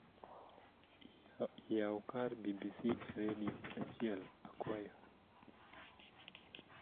yaw kar b.b.c e redio achiel akwayo